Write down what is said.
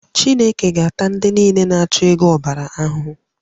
Chineke ga-ata ndị niile na-achụ ego ahụhụ